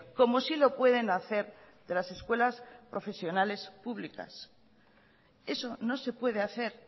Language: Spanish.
como sí lo pueden hacer de las escuelas profesionales públicas eso no se puede hacer